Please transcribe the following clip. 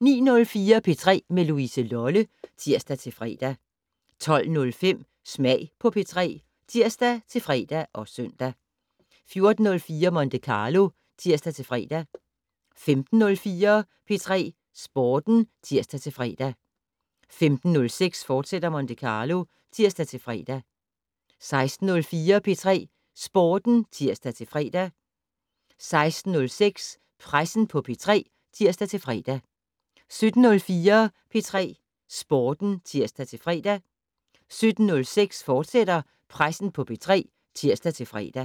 09:04: P3 med Louise Lolle (tir-fre) 12:05: Smag på P3 (tir-fre og søn) 14:04: Monte Carlo (tir-fre) 15:04: P3 Sporten (tir-fre) 15:06: Monte Carlo, fortsat (tir-fre) 16:04: P3 Sporten (tir-fre) 16:06: Pressen på P3 (tir-fre) 17:04: P3 Sporten (tir-fre) 17:06: Pressen på P3, fortsat (tir-fre)